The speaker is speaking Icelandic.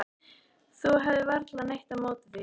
Þú hefur varla neitt á móti því?